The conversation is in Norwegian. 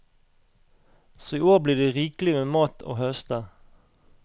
Så i år blir det rikelig med mat å høste.